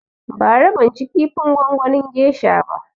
Bara ban ci kifin gongonin gesha ba